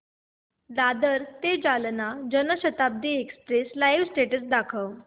दादर ते Jalna Janshatabdi express live status दाखव